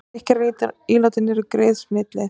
Drykkjarílátin eru greið smitleið